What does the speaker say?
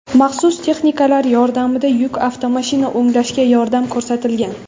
maxsus texnikalar yordamida yuk avtomashina o‘nglashga yordam ko‘rsatilgan.